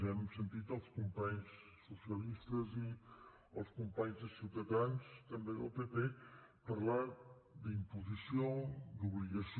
hem sentit els companys socialistes i els companys de ciutadans també del pp parlar d’imposició d’obligació